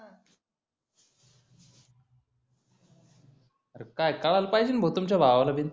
अरे काय कळाला पाहिजेण भाऊ तुमच्या भावालाबिन